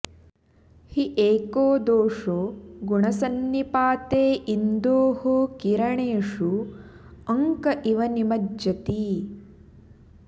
हि एको दोषो गुणसन्निपाते इन्दोः किरणेषु अङ्क इव निमज्जति